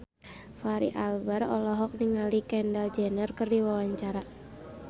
Fachri Albar olohok ningali Kendall Jenner keur diwawancara